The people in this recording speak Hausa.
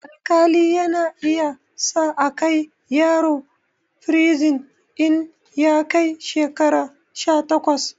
Alƙali yana iya sa akai yaro firizin in ya kai shekara sha takwas